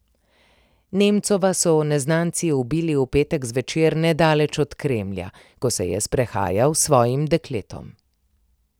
Nemcova so neznanci ubili v petek zvečer nedaleč od Kremlja, ko se je sprehajal s svojim dekletom.